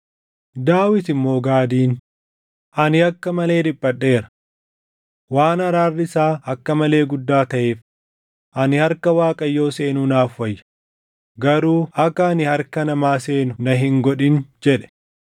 Daawit immoo Gaadiin, “Ani akka malee dhiphadheera. Waan araarri isaa akka malee guddaa taʼeef ani harka Waaqayyoo seenuu naaf wayya; garuu akka ani harka namaa seenu na hin godhin” jedhe.